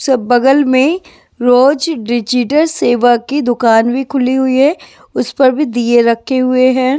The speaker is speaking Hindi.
सब बगल में रोज डिजिटल सेवा की दुकान भी खुली हुई है उस पर भी दिए रखे हुए हैं।